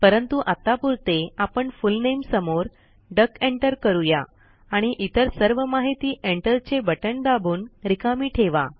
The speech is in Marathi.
परंतु आत्तापुरते आपण फुल नामे समोर डक एंटर करूया आणि इतर सर्व माहिती एंटर चे बटण दाबून रिकामी ठेवा